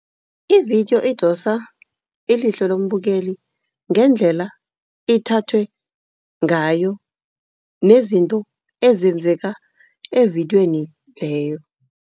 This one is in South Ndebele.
Ividiyo idosa ilihlo lombukeli ngendlela ithathwe ngayo, nezinto ezenzeka evidiyweni leyo.